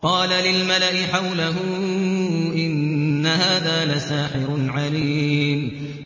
قَالَ لِلْمَلَإِ حَوْلَهُ إِنَّ هَٰذَا لَسَاحِرٌ عَلِيمٌ